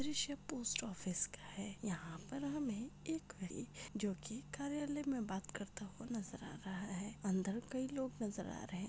दृश्य post office का है यहा पर हमे एक ने जो की कार्यलाय मे बात करता हुआ नजर आ रहा है अंदर कई लोग नजर आ रहे--